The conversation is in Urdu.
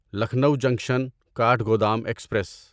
Lucknow junction Kathgodam express